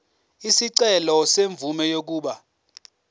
isicelo semvume yokuba